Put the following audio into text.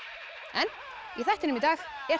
en í þættinum í dag er